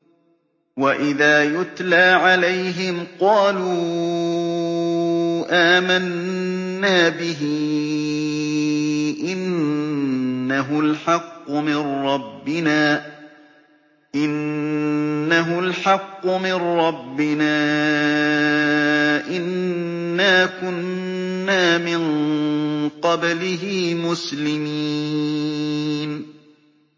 وَإِذَا يُتْلَىٰ عَلَيْهِمْ قَالُوا آمَنَّا بِهِ إِنَّهُ الْحَقُّ مِن رَّبِّنَا إِنَّا كُنَّا مِن قَبْلِهِ مُسْلِمِينَ